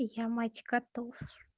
я мать котов